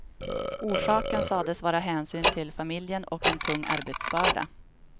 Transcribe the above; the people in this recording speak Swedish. Orsaken sades vara hänsyn till familjen och en tung arbetsbörda.